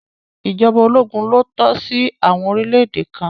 ìjọba ológun lo tọ́ sí àwọn orílẹ̀ èdè kan.